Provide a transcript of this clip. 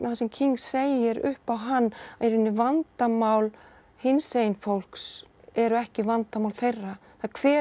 sem King segir upp á hann í rauninni vandamál hinsegin fólks eru ekki vandamál þeirra hver er